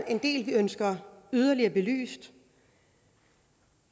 en del vi ønsker yderligere belyst